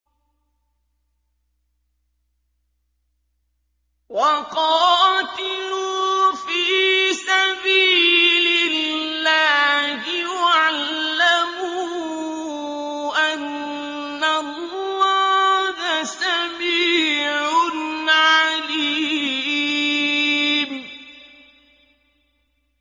وَقَاتِلُوا فِي سَبِيلِ اللَّهِ وَاعْلَمُوا أَنَّ اللَّهَ سَمِيعٌ عَلِيمٌ